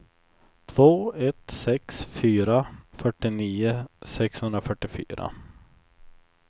två ett sex fyra fyrtionio sexhundrafyrtiofyra